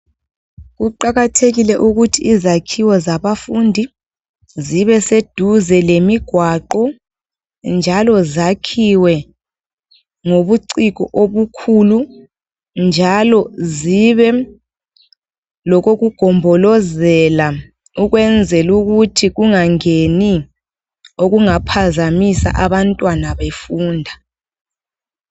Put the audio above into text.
Kuqakathekile ukuthi izakhiwo zabafundi zibeseduze lemigwaqo, njalo zakhiwe ngobuciko obukhulu, njalo zibe lokokugombolozela. Ukwenzela ukuthi kungangeni, okungaphazamisa abantwana befunda.